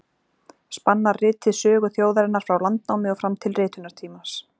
Spannar ritið sögu þjóðarinnar frá landnámi og fram til ritunartímans.